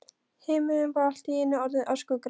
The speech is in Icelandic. Himinninn var allt í einu orðinn öskugrár.